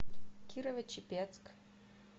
кирово чепецк